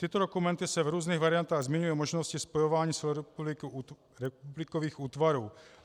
Tyto dokumenty se v různých variantách zmiňují o možnosti spojování celorepublikových útvarů.